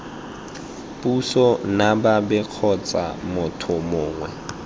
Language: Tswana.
puso nababet kgotsa motho mongwe